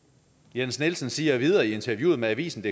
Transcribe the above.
jens nielsen siger videre i interviewet med avisendk